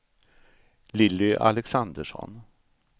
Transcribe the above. Lilly Alexandersson